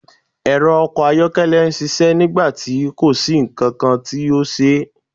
Ẹrọ ọkọ ayọkẹlẹ n ṣiṣẹ nigbati ko si nkan ti o kan